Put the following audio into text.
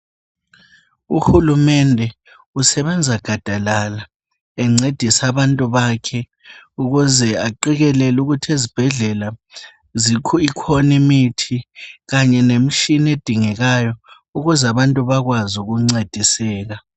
Uhulumende usebenza gadalala encedisa abantu bakhe ,ukuze aqekelele ukuthi ezibhedlela ikhoni mithi kanye lemishini edingekayo .Ukuze abantu bakwazi ukuncediseka .